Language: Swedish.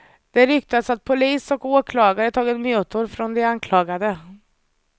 Det ryktas att polis och åklagare tagit mutor från de anklagade.